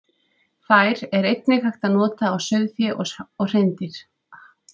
Þær er einnig hægt að nota á sauðfé og hreindýr.